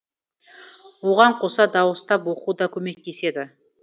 оған қоса дауыстап оқу да көмектеседі